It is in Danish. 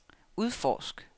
udforsk